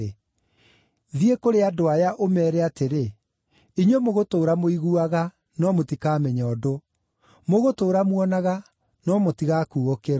“ ‘Thiĩ kũrĩ andũ aya, ũmeere atĩrĩ, “Inyuĩ mũgũtũũra mũiguaga, no mũtikamenya ũndũ; mũgũtũũra muonaga, no mũtigakuũkĩrwo.”